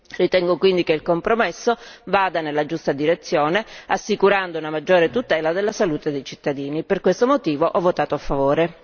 Ritengo quindi che il compromesso vada nella giusta direzione, assicurando una maggior e tutela della salute dei cittadini, per questo motivo ho votato a favore.